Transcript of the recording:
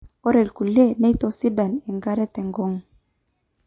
ore irkulie neitosidan enkare tenkong'u